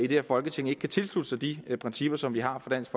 her folketing ikke kan tilslutte sig de principper som vi har fra dansk